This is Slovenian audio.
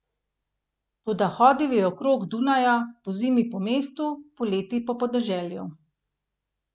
Toda hodil je okrog Dunaja, pozimi po mestu, poleti po podeželju.